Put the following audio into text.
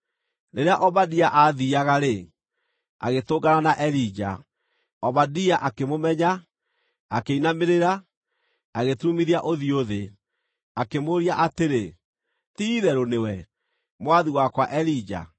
Rĩrĩa Obadia aathiiaga-rĩ, agĩtũngana na Elija. Obadia akĩmũmenya, akĩinamĩrĩra, agĩturumithia ũthiũ thĩ, akĩmũũria atĩrĩ, “Ti-itherũ nĩwe, mwathi wakwa Elija?”